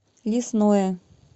лесное